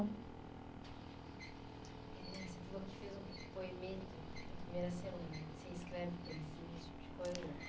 Você falou que fez um poemeto na primeira semana, né, você escreve poesia, esse tipo de coisa.